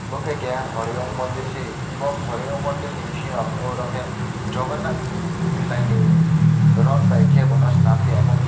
om ke keha horeowm mondir si bo horeown mondir ni bisingo aro ke jogonnat dai ni rot bi kebono swnam tai.